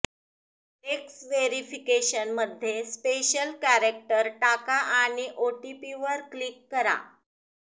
text वेरिफिकेशनमध्ये special character टाका आणि ओटीपीवर क्लिक करा